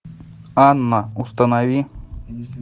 анна установи